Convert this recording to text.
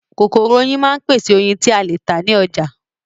Kokoro oyin máa ń pèsè oyin ti a le ta ni oja